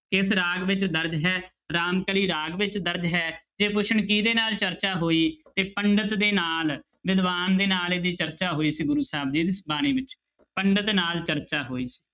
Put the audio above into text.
ਕਿਸ ਰਾਗ ਵਿੱਚ ਦਰਜ਼ ਹੈ ਰਾਮਕਲੀ ਰਾਗ ਵਿੱਚ ਦਰਜ਼ ਹੈ ਜੇ ਪੁੱਛਣ ਕਿਹਦੇ ਨਾਲ ਚਰਚਾ ਹੋਈ ਤੇ ਪੰਡਿਤ ਦੇ ਨਾਲ, ਵਿਦਵਾਨ ਦੇ ਨਾਲ ਇਹਦੀ ਚਰਚਾ ਹੋਈ ਸੀ ਗੁਰੂ ਸਾਹਿਬ ਜੀ ਦੀ ਬਾਣੀ ਵਿੱਚ ਪੰਡਿਤ ਨਾਲ ਚਰਚਾ ਹੋਈ।